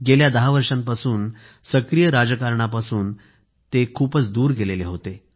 गेल्या दहा वर्षांपासून तर सक्रिय राजकारणापासून ते खूपच दूर गेले होते